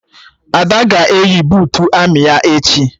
Ada ga-eyi buutu amị ya echi